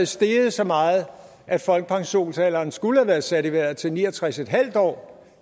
steget så meget at folkepensionsalderen skulle have været sat i vejret til ni og tres en halv år